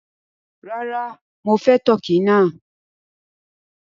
Ràrà, mọ fẹ̀ Tọkì náà